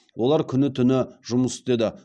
олар күні түні жұмыс істеді